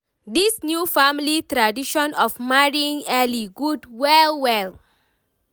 this new family tradition of marrying early good well well